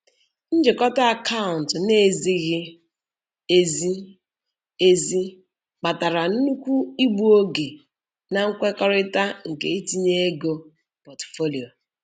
Njikọ akaụntụ na-ezighi ezi ezi kpatara nnukwu igbu oge na nkwekọrịta nke itinye ego pọtụfoliyo.